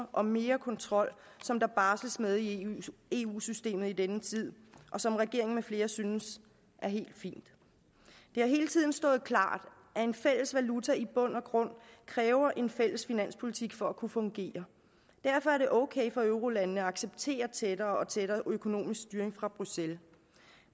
og mere kontrol som der barsles med i eu systemet i denne tid og som regeringen med flere synes er helt fint det har hele tiden stået klart at en fælles valuta i bund og grund kræver en fælles finanspolitik for at kunne fungere derfor er det ok for eurolandene at acceptere tættere og tættere økonomisk styring fra bruxelles